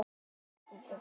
Hann þiggur það.